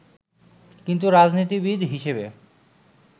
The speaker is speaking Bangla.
কিন্তু রাজনীতিবিদ হিসেবে